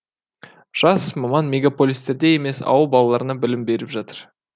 жас маман мегаполистерде емес ауыл балаларына білім беріп жатыр